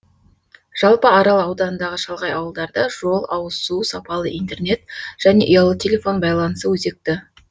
жалпы арал ауданындағы шалғай ауылдарда жол ауызсу сапалы интернет және ұялы телефон байланысы өзекті